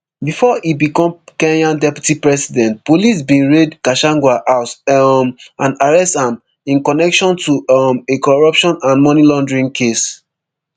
bifor e become kenya deputy president police bin raid gachagua house um and arrest am in connection to um a corruption and moneylaundering case